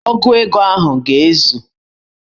Ogu ego ahụ ga-ezu